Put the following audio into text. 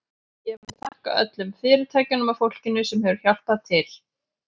Ég vil þakka öllum fyrirtækjunum og fólkinu sem hefur hjálpað til.